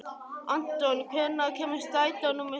Anton, hvenær kemur strætó númer sex?